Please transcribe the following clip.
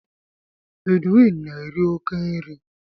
Edwin na-eri oke nri